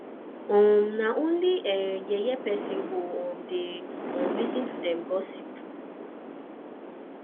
um na only yeye person go um dey um lis ten to dem gossip